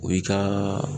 O y'i ka